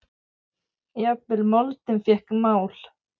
Jafnvel moldin fékk mál.